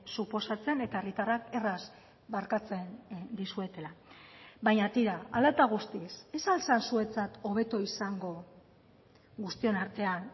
suposatzen eta herritarrak erraz barkatzen dizuetela baina tira hala eta guztiz ez al zen zuentzat hobeto izango guztion artean